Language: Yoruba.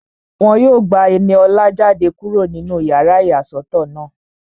Wọ́n yóò gba Ẹniọlá jáde kúrò nínú yàrá ìyàsọ́tọ̀ náà